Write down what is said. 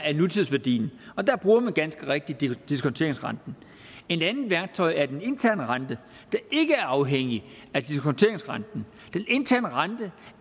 er nutidsværdien og der bruger man ganske rigtigt diskonteringsrenten et andet værktøj er den interne rente der ikke er afhængig af diskonteringsrenten den interne rente